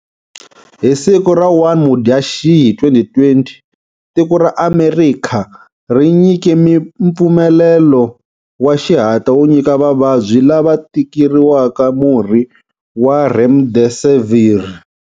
Hi siku ra 1 Mudyaxihi 2020, tiko ra Amerikha ri nyike mpfumelelo wa xihatla wo nyika vavabyi lava tikeriwaka murhi wa remdesivir.